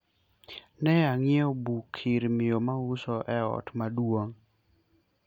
ne anyiewo buk ir miyo mauso e ot maduong